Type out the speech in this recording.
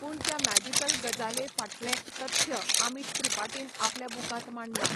पूण त्या मॅजिकल गजाले फाटलें तथ्य आमीश त्रिपाटीन आपल्या बुकांत मांडलां.